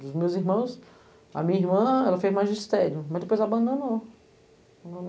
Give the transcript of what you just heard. Dos meus irmãos, a minha irmã, ela fez magistério, mas depois abandonou.